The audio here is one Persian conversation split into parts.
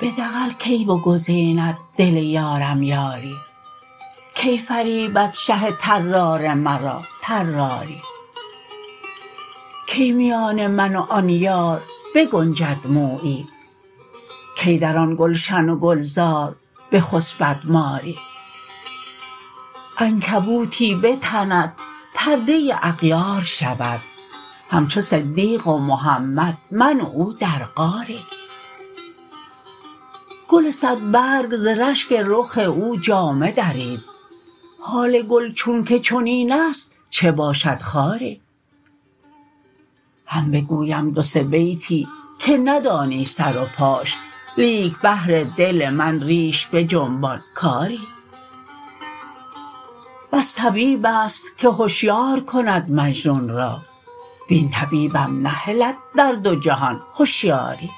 به دغل کی بگزیند دل یارم یاری کی فریبد شه طرار مرا طراری کی میان من و آن یار بگنجد مویی کی در آن گلشن و گلزار بخسپد ماری عنکبوتی بتند پرده اغیار شود همچو صدیق و محمد من و او در غاری گل صدبرگ ز رشک رخ او جامه درید حال گل چونک چنین است چه باشد خاری هم بگویم دو سه بیتی که ندانی سر و پاش لیک بهر دل من ریش بجنبان کآری بس طبیب است که هشیار کند مجنون را وین طبیبم نهلد در دو جهان هشیاری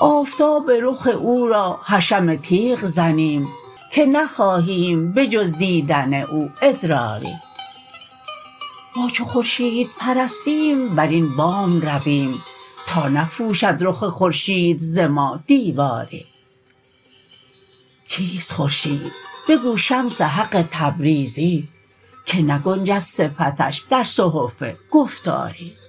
آفتاب رخ او را حشم تیغ زنیم که نخواهیم به جز دیدن او ادراری ما چو خورشیدپرستیم بر این بام رویم تا نپوشد رخ خورشید ز ما دیواری کیست خورشید بگو شمس حق تبریزی که نگنجد صفتش در صحف گفتاری